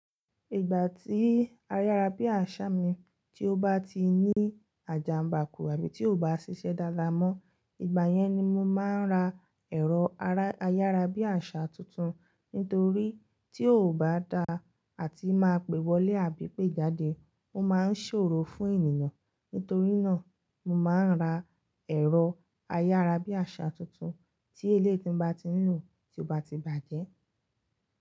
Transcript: Ìgbà tí ayárabíàṣá mi tí ó bá ti ní àjàmbá kù àbí tí kò bá ṣiṣẹ́ dáadáa mọ, ìgbà yẹn ni mo máa ń ra ẹ̀rọ ayárabíàṣá tuntun. Nítorí tí kò bá dáa àti máa pè wọlé àbí pé jáde, ó máa ń ṣòro fún ènìyàn. Nítorí náà, mo máa ń ra ẹ̀rọ ayárabíàṣá tuntun tí eléyii ti n bá ti ń lò tí ó bá ti bàjẹ́.